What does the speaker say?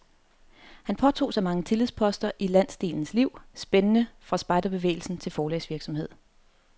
Han påtog sig mange tillidsposter i landsdelens liv, spændende fra spejderbevægelsen til forlagsvirksomhed.